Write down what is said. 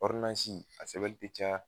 a sɛbɛnli ti caya